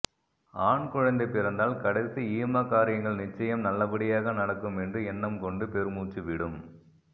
ஆண்குழந்தை பிறந்தால் கடைசி ஈமக் காரியங்கள் நிச்சயம் நல்லபடியாக நடக்கும் என்று எண்ணம் கொண்டு பெருமூச்சுவிடும்